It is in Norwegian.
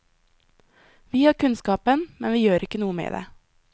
Vi har kunnskapen, men vi gjør ikke noe med det.